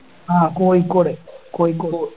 ആഹ് Kozhikode Kozhikode